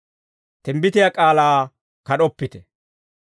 Timbbitiyaa k'aalaa kad'oppite.